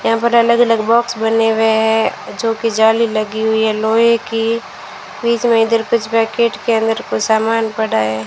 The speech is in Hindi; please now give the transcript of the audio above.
यहां पर अलग अलग बॉक्स बने हुए हैं जोकि जाली लगी हुई है लोहे की बीच में इधर कुछ पैकेट के अंदर कुछ सामान पड़ा है।